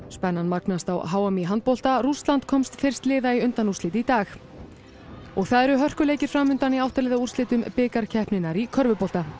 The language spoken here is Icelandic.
spennan magnast á h m í handbolta Rússland komst fyrst liða í undanúrslit í dag og það eru hörkuleikir fram undan í átta liða úrslitum bikarkeppninnar í körfubolta